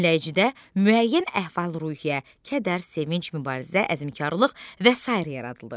Dinləyicidə müəyyən əhvali-ruhiyyə, kədər, sevinc, mübarizə, əzmkarlıq və sair yaradılır.